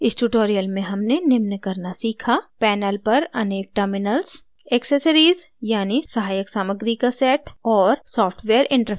इस tutorial में हमने निम्न करना सीखा: